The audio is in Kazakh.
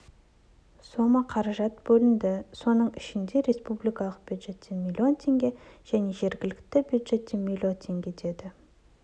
сома қаражат бөлінді соның ішінде республикалық бюджеттен млн теңге және жергілікті бюджеттен млн теңге деді